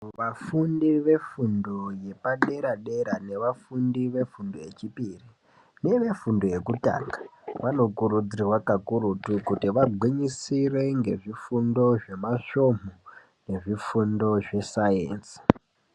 Vafundi vefundo dzepadera dera nevafundi vefundo yechipiri nevefundo yekutanga vanokuridzirwa kakurutu kuti vagwinyisire ngezvifundo zvemasvomu nezvifundo zvesainzi.